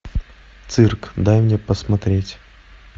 цирк дай мне посмотреть